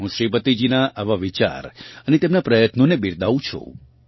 હું શ્રીપતિજીનાં આ વિચાર અને તેમનાં પ્રયત્નોને બિરદાવું છું